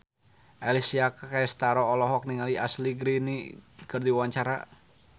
Alessia Cestaro olohok ningali Ashley Greene keur diwawancara